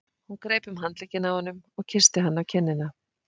Hún greip um handlegginn á honum og kyssti hann á kinnina.